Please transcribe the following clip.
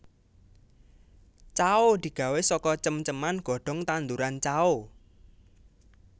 Cao digawé saka cem ceman godhong tanduran cao